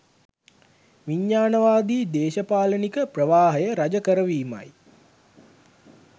විඥාණවාදී දේශපාලනික ප්‍රවාහය රජ කරවීමයි